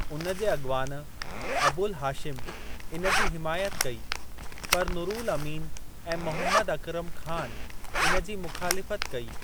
उन जे अॻिवान अबुल हाशिम इन जी हिमायत कई, पर नुरुल अमीन ऐं मोहम्मद अकरम ख़ान इन जी मुख़ालिफत कई।